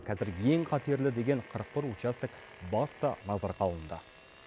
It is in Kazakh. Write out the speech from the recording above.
қазір ең қатерлі деген қырық бір участок басты назарға алынды